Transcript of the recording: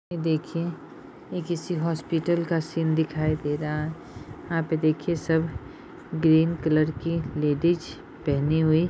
ये देखिए ये किसी हॉस्पिटल का सीन दिखाई दे रहा है यहाँ पे देखिऐ सब ग्रीन कलर की लेडीज पहने हुई--